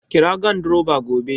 Kira gandiroba gobe